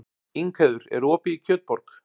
Ingheiður, er opið í Kjötborg?